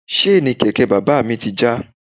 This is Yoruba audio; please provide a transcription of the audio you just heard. Ṣéènì kẹ̀kẹ́ bàbá ti já.